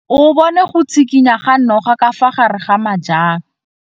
O bone go tshikinya ga noga ka fa gare ga majang.